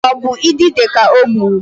Ọ bụ idide ka ọ gburu?